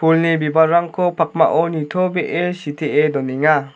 pulni bibalrangko pakmao nitobee sitee donenga.